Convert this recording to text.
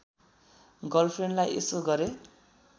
गर्लफ्रेन्डलाई यसो गरेँ